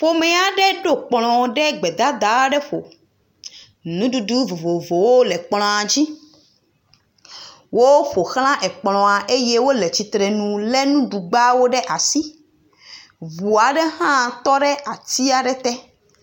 Ƒome aɖe ɖo kplɔ ɖe gbedada aɖe ɖo, nuɖuɖu vovovowo le kplɔa dzi, wo ƒoxla kplɔa eye wole tsitrenu lé nuɖugbawo ɖe asi, ŋu aɖe hã tɔ ɖe ati aɖe te.